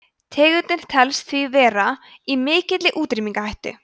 tegundin telst því vera í mikilli útrýmingarhættu